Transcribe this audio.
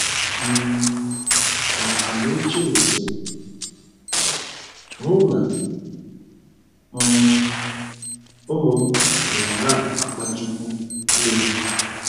um Ka Amechi nwụsiri ,Mụ na um ụmụ m bịara na - akpachikwu anya.